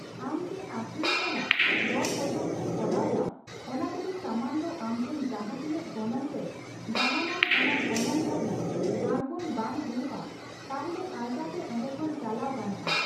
ᱟᱢ ᱡᱮ ᱟᱹᱠᱷᱨᱤᱧ ᱥᱟᱞᱟᱜ ᱫᱚᱨᱼᱠᱚᱥᱟᱠᱚᱥᱤ ᱠᱚᱨᱟᱣ ᱮᱫᱟᱢ, ᱚᱱᱟ ᱡᱚᱫᱤ ᱥᱟᱢᱟᱱ ᱫᱚ ᱟᱢᱴᱷᱮᱱ ᱡᱟᱦᱟᱸ ᱛᱤᱱᱟᱹᱜ ᱜᱚᱱᱚᱝᱛᱮ ᱫᱟᱢᱟᱱ ᱟᱱ ᱚᱱᱟ ᱜᱚᱱᱚᱝ ᱫᱷᱟᱹᱵᱤᱡ ᱟᱲᱜᱳᱱ ᱵᱟᱝ ᱦᱳᱭᱳᱭᱜ, ᱛᱟᱦᱚᱞᱮ ᱟᱞᱜᱟᱛᱮ ᱚᱰᱮ ᱠᱷᱚᱱ ᱪᱟᱞᱟᱣ ᱜᱟᱱᱚᱜᱼᱟ ᱾